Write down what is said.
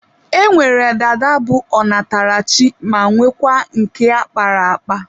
E nwere dada bụ ọ natara chi ma nwekwaa nke a kpara akpa.